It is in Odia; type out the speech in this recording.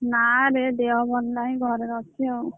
ନାଇଁ ରେ ଦେହ ଭଲ ନହିଁ ଘରେ ଅଛି ଆଉ।